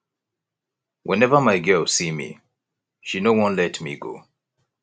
whenever my girl see me she no wan let me go